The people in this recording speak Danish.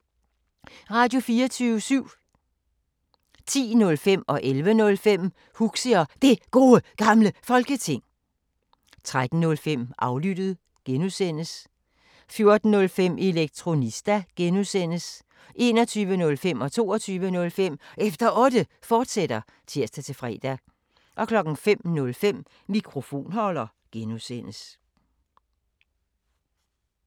Radio24syv